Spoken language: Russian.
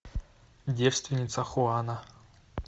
девственница хуана